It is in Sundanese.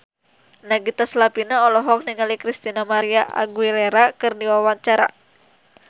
Nagita Slavina olohok ningali Christina María Aguilera keur diwawancara